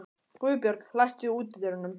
Guðbjörg, læstu útidyrunum.